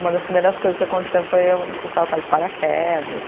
Uma das primeiras coisas que aconteceu foi eu foi saltar de paraquedas.